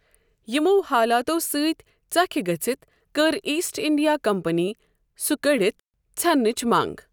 یِمو حالاتو سۭتۍ ژكھ گژھِتھ كٕر ایسٹ اِنڈِیا كمپنی سہ كٕڈِتھ ژھٮ۪نٕچ منگ۔